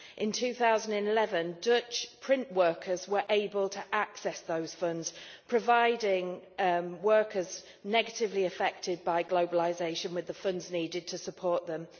In 2011, Dutch print workers were able to access those funds, providing workers negatively affected by globalisation with the funds needed to support them.